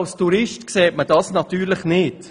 Als Tourist sieht man dies natürlich nicht.